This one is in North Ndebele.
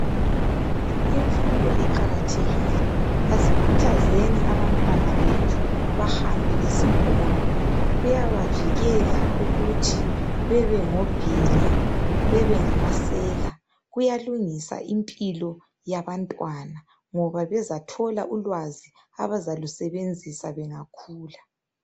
Imfundo iqakathekile asikhuthazeni abantwana bethu bahambe esikolo, kuyabavikela ukuthi bebe ngobhinya, bebengamasela, kuyalungisa impilo yabantwana ngoba bezathola ulwazi abazalusebenzisa bengakhula.